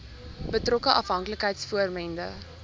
betrokke afhanklikheids vormende